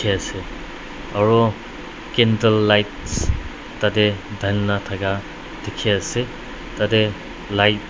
ase aro candle lights tate dhalina daka diki ase tate light .